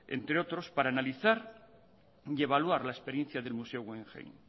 entre otros para analizar y evaluar la experiencia del museo guggenheim